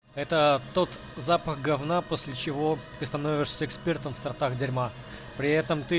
это тот запах говна после чего ты становишься экспертом в сортах дерьма при этом ты